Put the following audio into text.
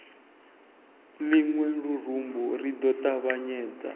luṅwe lurumbu ri ḓo ṱavhanyedza